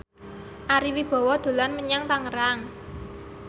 Ari Wibowo dolan menyang Tangerang